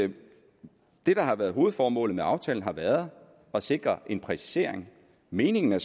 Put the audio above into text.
at det der har været hovedformålet med aftalen har været at sikre en præcisering meningen er